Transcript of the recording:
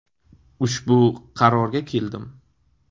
Ushbu qarorga keldim.